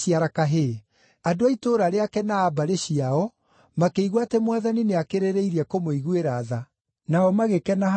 Andũ a itũũra rĩake na a mbarĩ ciao makĩigua atĩ Mwathani nĩakĩrĩrĩirie kũmũiguĩra tha, nao magĩkena hamwe nake.